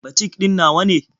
Batik ɗin na waye?